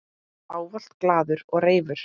Ávallt glaður og reifur.